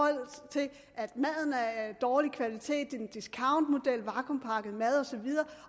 maden er af dårlig kvalitet en discountmodel vakuumpakket mad og så videre